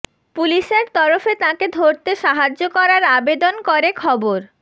পুলিশের তরফে তাঁকে ধরতে সাহায্য করার আবেদন করে খবর